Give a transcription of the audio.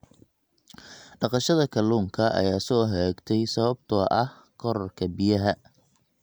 Dhaqashada kalluunka ayaa soo hagaagtay sababtoo ah kororka biyaha.